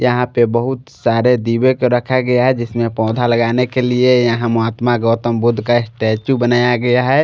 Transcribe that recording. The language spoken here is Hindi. यहाँ पे बहुत सारे दिवे को रखा गया है जिसमे पौधा लगाने के लिए यहाँ महात्मा गौतम बुद्ध का स्टैचू बनाया गया है।